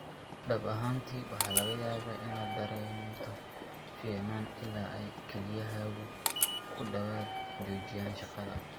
Dhab ahaantii, waxa laga yaabaa inaad dareento fiicnaan ilaa ay kelyahaagu ku dhawaad ​​joojiyaan shaqada.